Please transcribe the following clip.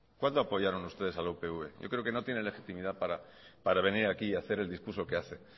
cuándo apoyaron ustedes a la upv yo creo que no tiene legitimidad para venir aquí y hacer el discurso que hace